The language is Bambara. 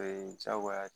Ee jagoya ye